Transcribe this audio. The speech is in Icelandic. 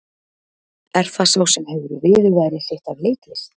Er það sá sem hefur viðurværi sitt af leiklist?